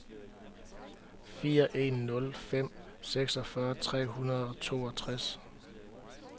fire en nul fem seksogfyrre tre hundrede og toogtres